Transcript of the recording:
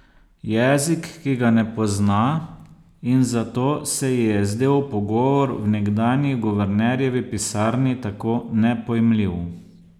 Jezik, ki ga ne pozna, in zato se ji je zdel pogovor v nekdanji guvernerjevi pisarni tako nepojmljiv.